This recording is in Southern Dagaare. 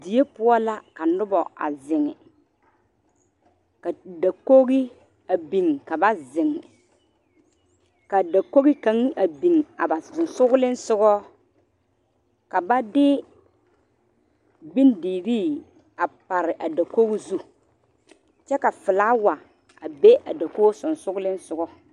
Die poɔ la ka noba a zeŋe ka dakogi a biŋ ka ba zeŋ ka dakogi kaŋa a biŋ a ba sensoglesogɔ ka ba de bondirii a pare a dakogi zu kyɛ ka filawa a be a dakogi sensoglesogɔ.